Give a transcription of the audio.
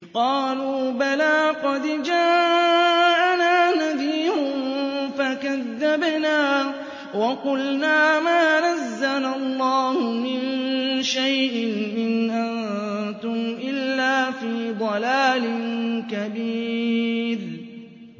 قَالُوا بَلَىٰ قَدْ جَاءَنَا نَذِيرٌ فَكَذَّبْنَا وَقُلْنَا مَا نَزَّلَ اللَّهُ مِن شَيْءٍ إِنْ أَنتُمْ إِلَّا فِي ضَلَالٍ كَبِيرٍ